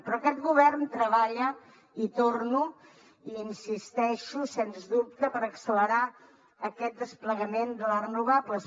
però aquest govern treballa hi torno hi insisteixo sens dubte per accelerar aquest desplegament de les renovables